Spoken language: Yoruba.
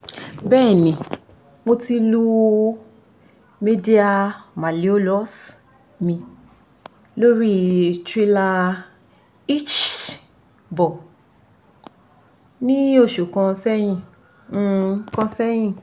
bẹẹni mo ti lu medial malleolus mi lori trailer hitch ball ni oṣu kan sẹyin kan sẹyin